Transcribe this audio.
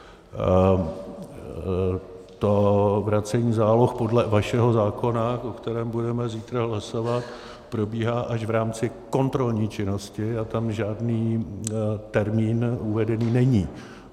To vracení záloh podle vašeho zákona, o kterém budeme zítra hlasovat, probíhá až v rámci kontrolní činnosti a tam žádný termín uvedený není.